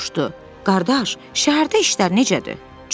Qardaş, şəhərdə işlər necədir?